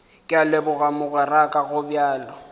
ke a leboga mogweraka gobjalo